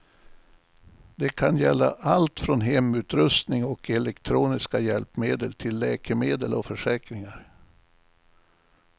Det kan gälla allt från hemutrustning och elektroniska hjälpmedel till läkemedel och försäkringar.